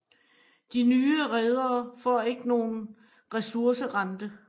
De nye redere får ikke nogen ressourcerente